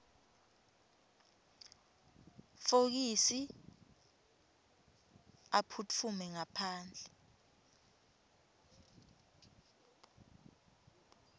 fokisi aphutfume ngaphandle